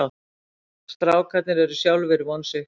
Strákarnir eru sjálfir vonsviknir